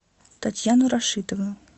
татьяну рашитовну